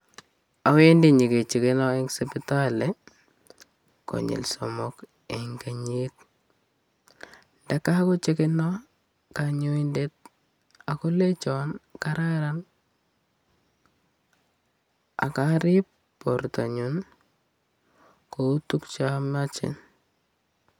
Awendi nyekechekeno eng sipitali konyil somok eng kenyit. Ndeka kochekeno kanyoindet akolechon kararan ak arib borto anyun kou tukche amache.